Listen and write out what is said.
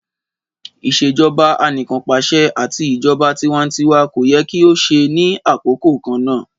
Ìṣèjọba Anìkanpàṣẹ ati ijọba tiwantiwa ko yẹ ki o ṣe ni akoko kanna.